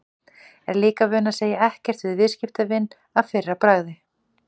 Er líka vön að segja ekkert við viðskiptavin að fyrra bragði.